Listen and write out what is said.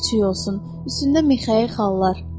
Ax ağ küçüyü olsun, üstündə Mixayıl xallar.